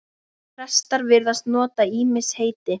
Prestar virðast nota ýmis heiti.